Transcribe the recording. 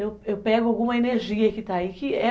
Eu eu pego alguma energia que está aí, que é